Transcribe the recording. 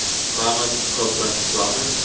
climate koppen climate